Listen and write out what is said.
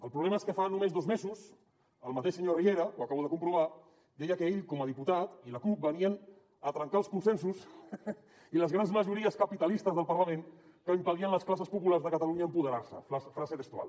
el problema és que fa només dos mesos el mateix senyor riera ho acabo de comprovar deia que ell com a diputat i la cup venien a trencar els consensos i les grans majories capitalistes del parlament que impedien a les classes populars de catalunya empoderar se frase textual